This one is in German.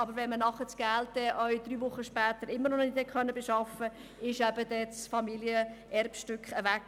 Aber wenn man drei Wochen später das Geld noch immer nicht beschaffen konnte, ist das Familienerbstück weg.